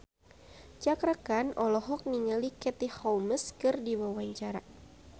Cakra Khan olohok ningali Katie Holmes keur diwawancara